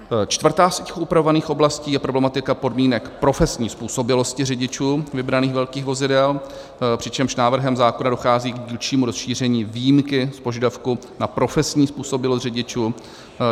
Čtvrtá z těch upravovaných oblastí je problematika podmínek profesní způsobilosti řidičů vybraných velkých vozidel, přičemž návrhem zákona dochází k dílčímu rozšíření výjimky z požadavku na profesní způsobilost řidičů.